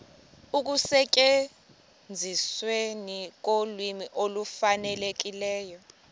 ekusetyenzisweni kolwimi olufanelekileyo